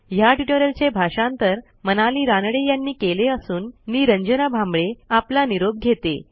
ह्या ट्युटोरियलचे भाषांतर मनाली रानडे यांनी केले असून मी रंजना भांबळे आपला निरोप घेते160